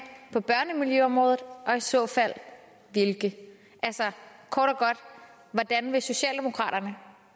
på børnemiljøområdet og i så fald hvilke altså kort og godt hvordan vil socialdemokraterne